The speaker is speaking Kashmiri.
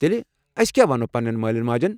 تیٚلہ، اَسۍ کیٛاہ وَنَو پننین مالین ماجین ؟